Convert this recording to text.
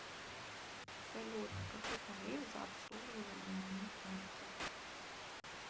салют какой тариф за обслуживание моей карты